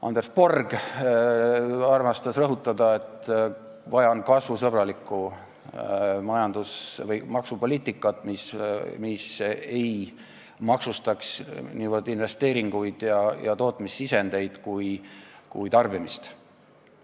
Anders Borg armastas rõhutada, et vaja on kasvusõbralikku maksupoliitikat, mis ei maksustaks niivõrd investeeringuid ja tootmissisendeid kui tarbimist.